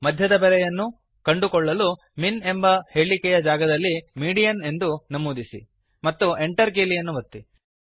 ಮಧ್ಯದ ಬೆಲೆಯನ್ನು ಕಂಡುಕೊಳ್ಳಲು ಮಿನ್ ಎಂಬ ಹೇಳಿಕೆಯ ಜಾಗದಲ್ಲಿ MEDIANಎಂದು ನಮೂದಿಸಿ ಮತ್ತು Enter ಕೀಲಿಯನ್ನು ಒತ್ತಿರಿ